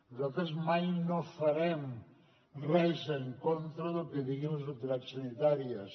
nosaltres mai no farem res en contra del que diguin les autoritats sanitàries